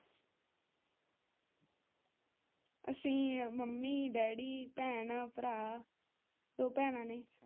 ਅਸੀ mummy daddy ਭੈਣ ਭਰਾ ਦੋ ਭੈਣਾਂ ਨੇ।